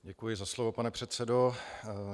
Děkuji za slovo, pane předsedo.